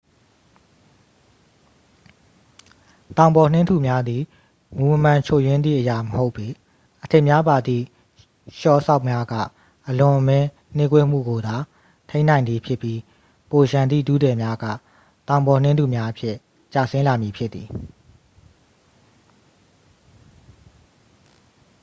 တောင်ပေါ်နှင်းထုများသည် မူမမှန်ချွတ်ယွင်းသည့်အရာမဟုတ်ပေ အထစ်များပါသည့် လျှော်စောက်များက အလွန်အမင်းနှေးကွေးမှုကိုသာ ထိန်းနိုင်သည်ဖြစ်ပြီး ပိုလျှံသည့် ထုထည်များက တောင်ပေါ်နှင်းထုများအဖြစ် ကျဆင်းလာမည်ဖြစ်သည်